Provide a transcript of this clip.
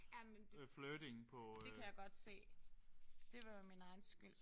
Ja men det det kan jeg godt se. Det var min egen skyld